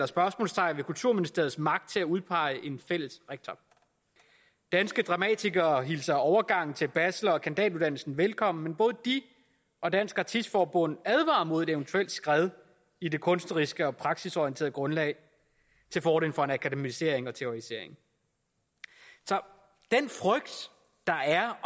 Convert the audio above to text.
spørgsmålstegn ved kulturministeriets magt til at udpege en fælles rektor danske dramatikere hilser overgangen til bachelor og kandidatuddannelsen velkommen men både de og dansk artist forbund advarer mod et eventuelt skred i det kunstneriske og praktisorienterede grundlag til fordel for en akademisering og teoretisering så den frygt der er